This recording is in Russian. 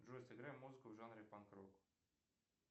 джой сыграй музыку в жанре панк рок